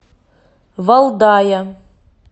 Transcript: валдая